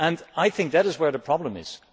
I think that is where the problem lies.